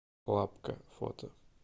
лапка фото